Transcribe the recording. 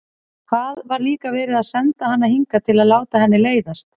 Hvað var líka verið að senda hana hingað til að láta henni leiðast?